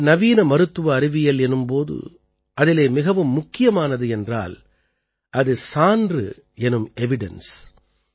ஆனால் நவீன மருத்துவ அறிவியல் எனும் போது அதிலே மிகவும் முக்கியமானது என்றால் அது சான்று எனும் ैEvidence